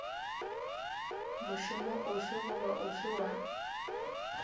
mošomo ofe goba ofe wa